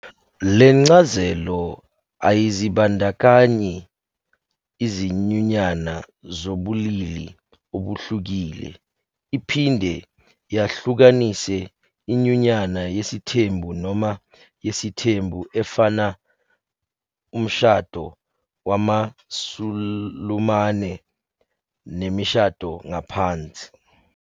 Le ncazelo ayizibandakanyi izinyunyana zabobulili obuhlukile, iphinde yahlukanisa inyunyana yesithembu noma yesithembu efana umshado wamaSulumane nemishado ngaphansi